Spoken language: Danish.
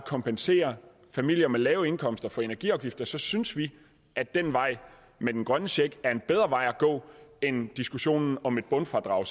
kompensere familier med lave indkomster for energiafgifter så synes vi at den vej med den grønne check er en bedre vej at gå end diskussionen om et bundfradrag